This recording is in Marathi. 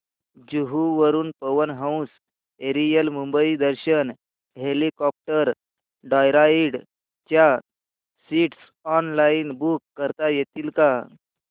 जुहू वरून Pawan Hans aerial Mumbai Darshan helicopter joyride च्या सीट्स ऑनलाइन बुक करता येतील का